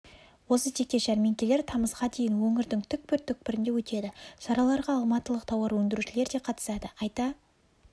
осы тектес жәрмеңкелер тамызға дейін өңірдің түкпір түкпірінде өтеді шараларға алматылық тауар өндірушілер де қатысады айта